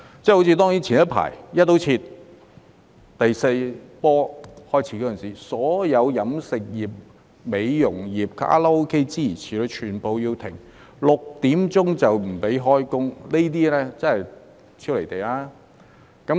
正如早前第四波疫情開始時，"一刀切"勒令所有飲食業、美容業、卡拉 OK 等全部要停業，下午6時後不准營業。